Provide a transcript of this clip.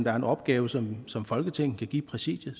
er en opgave som som folketinget kan give præsidiet